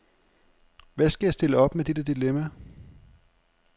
Hvad skal jeg stille op med det dilemma?